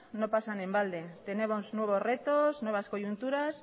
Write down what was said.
no pasan en balde tenemos nuevos retos nuevas coyunturas